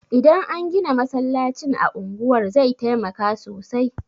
Idan an gina masallacin a unguwar zai taimaka sosai